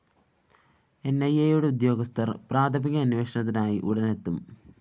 എന്‍ഐഎയുടെ ഉദ്യോഗസ്ഥര്‍ പ്രാഥമിക അന്വേഷണത്തിനായി ഉടന്‍ എത്തും